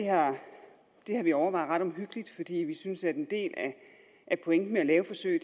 har vi overvejet ret omhyggeligt fordi vi synes at en del af pointen med at lave forsøg